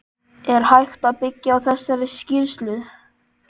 Er hægt að byggja á þessari skýrslu?